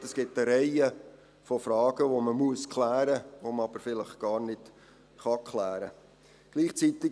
Sie sehen: Es gibt eine Reihe von Fragen, die man klären muss, die man aber vielleicht gar nicht klären kann.